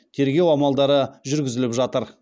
тергеу амалдары жүргізіліп жатыр